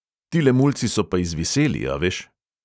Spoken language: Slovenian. Tile mulci so pa izviseli, a veš.